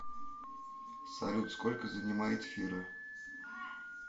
салют сколько занимает фира